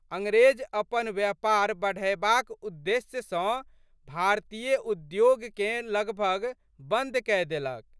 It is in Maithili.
अंग्रेज अपन व्यापार बढ़यबाक द्देश्य सँ भारतीय उद्योगकेँ लगभग बंद कय देलक।